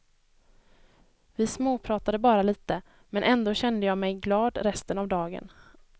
Vi småpratade bara lite, men ändå kände jag mig glad resten av dagen.